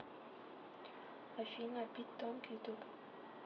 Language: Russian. афина пит тонг ютуб